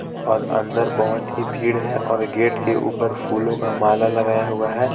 और अंदर बहुत ही भीड़ है और गेट के उपर फूलों का माला लगाया हुआ है.